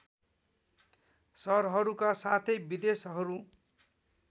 सहरहरूका साथै विदेशहरू